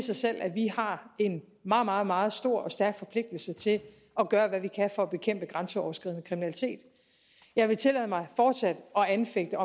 sig selv at vi har en meget meget meget stor og stærk forpligtelse til at gøre hvad vi kan for at bekæmpe grænseoverskridende kriminalitet jeg vil tillade mig fortsat at anfægte